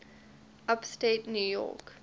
upstate new york